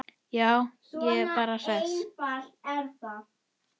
Já, ég er bara hress.